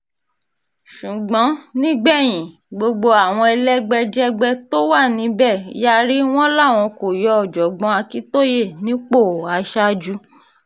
ṣùgbọ́n nígbẹ̀yìn gbogbo àwọn elégbèjẹgbẹ́ tó wà níbẹ̀ yarí wọn làwọn kò yọ ọ̀jọ̀gbọ́n akintóyè nípò aṣáájú